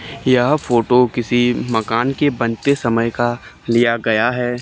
यह फोटो किसी मकान के बनते समय का लिया गया है।